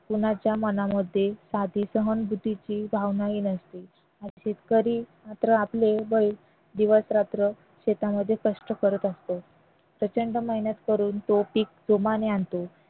कोणाच्या मनामध्ये असते शेतकरी मात्र आपले बैल शेतामध्ये दिवस रात्र कष्ट करत असतो प्रचंड मेहनत करून तो पीक जोमाने आणतो